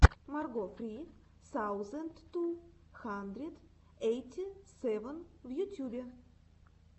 марго сри саузэнд ту хандрэд ейти сэвэн в ютьюбе